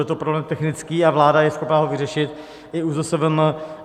Je to problém technický a vláda je schopna ho vyřešit, i ÚZSVM.